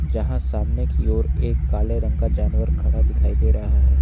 जहां सामने की ओर काले रंग का जानवर खड़ा दिखाई दे रहा है।